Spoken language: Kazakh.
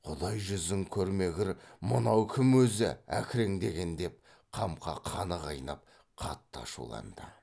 құдай жүзін көрмегір мынау кім өзі әкіреңдеген деп қамқа қаны қайнап қатты ашуланды